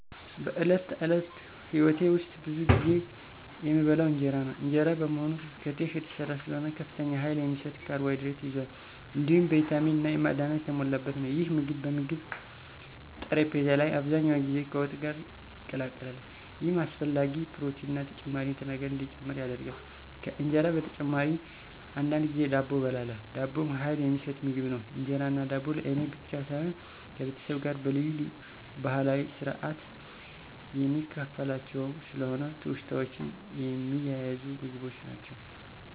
በዕለት ተዕለት ሕይወቴ ውስጥ ብዙ ጊዜ የምበላው እንጀራ ነው። እንጀራ በመሆኑ ከተፍ የተሰራ ስለሆነ ከፍተኛ ኃይል የሚሰጥ ካርቦሃይድሬት ይዟል፣ እንዲሁም ቪታሚን እና ማዕድናት የተሞላበት ነው። ይህ ምግብ በምግብ ጠረጴዛ ላይ አብዛኛውን ጊዜ ከወጥ ጋር ይቀላቀላል፣ ይህም አስፈላጊ ፕሮቲንና ተጨማሪ ንጥረ ነገር እንዲጨምር ያደርጋል። ከእንጀራ በተጨማሪ አንዳንድ ጊዜ ዳቦ እበላለሁ። ዳቦም ኃይል የሚሰጥ ምግብ ነው። እንጀራና ዳቦ ለእኔ ብቻ ሳይሆን ከቤተሰቤ ጋር በልዩ ልዩ ባህላዊ ስርአት የምካፈላቸውም ስለሆኑ ትውስታዎችን የሚያያዙ ምግቦች ናቸው።